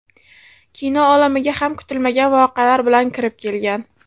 Kino olamiga ham kutilmagan voqealar bilan kirib kelgan.